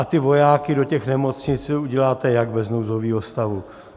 A ty vojáky do těch nemocnic uděláte jak bez nouzového stavu?